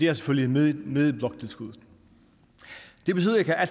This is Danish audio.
er selvfølgelig med med bloktilskuddet det betyder ikke at